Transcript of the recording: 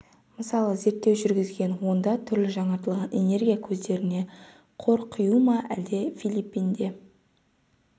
мысалы зерттеу жүргізген онда түрлі жаңартылатын энергия көздеріне қор құю ма әлде филиппинде